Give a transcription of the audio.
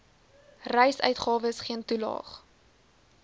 reisuitgawes geen toelaag